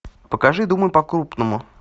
покажи думай по крупному